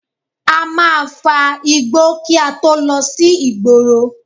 A máa fa igbó kí a tó lọ sí ìgboro